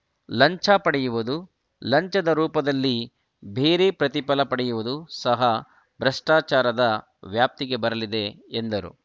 ಲಂಚ ಪಡೆಯುವುದು ಲಂಚದ ರೂಪದಲ್ಲಿ ಬೇರೆ ಪ್ರತಿಫಲ ಪಡೆಯುವುದು ಸಹ ಭ್ರಷ್ಟಾಚಾರದ ವ್ಯಾಪ್ತಿಗೆ ಬರಲಿದೆ ಎಂದರು